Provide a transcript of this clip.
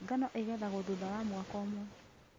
Ngano ĩgethagwo thutha wa mwaka ũmwe